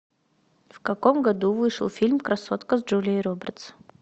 в каком году вышел фильм красотка с джулией робертс